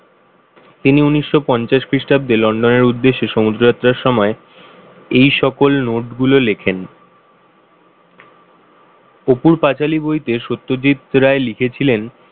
তিনি উনিশশো পঞ্চাশ খ্রীষ্টাব্দে London এর উদ্দেশ্যে সমুদ্রযাত্রা সময় এই সকল note গুলো লেখেন। অপুর পাঁচালী বইতে সত্যজিৎ রায় লিখেছিলেন,